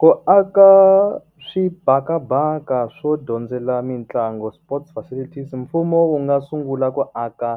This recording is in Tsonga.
Ku aka swibakabaka swo dyondzela mitlangu sports facilities mfumo wu nga sungula ku aka